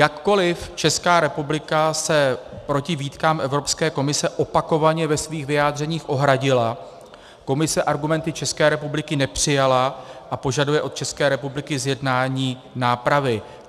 Jakkoliv Česká republika se proti výtkám Evropské komise opakovaně ve svých vyjádřeních ohradila, Komise argumenty České republiky nepřijala a požaduje od České republiky zjednání nápravy.